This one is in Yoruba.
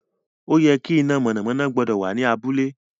O ye ki iná mọ̀nàmọ́ná gbọ́dọ̀ wà ní abúlé